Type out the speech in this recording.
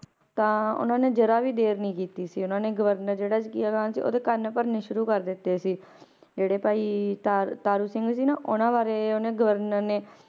ਤਾਂ ਉਹਨਾਂ ਨੇ ਜ਼ਰਾ ਵੀ ਦੇਰ ਨੀ ਕੀਤੀ ਸੀ ਉਹਨਾਂ ਨੇ ਗਵਰਨਰ ਜਿਹੜਾ ਜ਼ਕਰੀਆਂ ਖ਼ਾਨ ਸੀ ਉਹਦੇ ਕੰਨ ਭਰਨੇ ਸ਼ੁਰੂ ਕਰ ਦਿੱਤੇ ਸੀ ਜਿਹੜੇ ਭਾਈ ਤਾ~ ਤਾਰੂ ਸਿੰਘ ਸੀ ਨਾ ਉਹਨਾਂ ਬਾਰੇ ਉਹਨੇ ਗਵਰਨਰ ਨੇ,